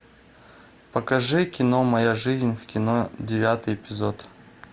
покажи кино моя жизнь в кино девятый эпизод